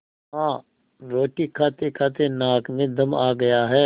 हाँ रोटी खातेखाते नाक में दम आ गया है